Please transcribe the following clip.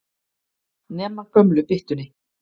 Nema gömlu byttunni.